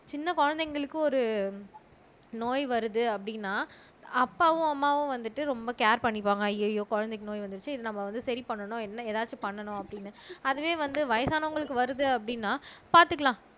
சின்ன குழந்தைங்களுக்கு ஒரு நோய் வருது அப்படின்னா அப்பாவும் அம்மாவும் வந்துட்டு ரொம்ப கேர் பண்ணிப்பாங்க ஐயையோ குழந்தைக்கு நோய் வந்துருச்சு இதை நம்ம வந்து சரி பண்ணணும் என்ன எதாச்சும் பண்ணணும் அப்படின்னு அதுவே வந்து வயசானவங்களுக்கு வருது அப்படின்னா பாத்துக்கலாம்